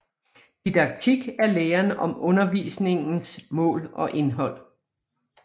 Didaktik er læren om undervisningens mål og indhold